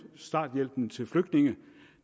starthjælpen til flygtninge